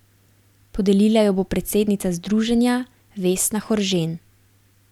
Podelila jo bo predsednica združenja Vesna Horžen.